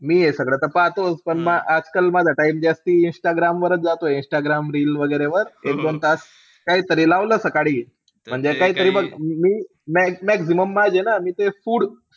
मी हे सगळं त पाहतोचं. पण म आजकाल माझा time जास्ती इंस्टाग्रामवरच जातोय. इंस्टाग्राम reel वैगेरेवर एक-दोन तास. काईतरी लावलं सकाळी म्हणजे काहीतरी मी maximum माझे ना ते food,